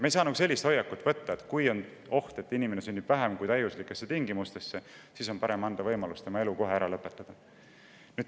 Me ei saa võtta sellist hoiakut, et kui on oht, et inimene sünnib mittetäiuslikesse tingimustesse, siis on parem luua selline võimalus, et tema elu saaks kohe ära lõpetada.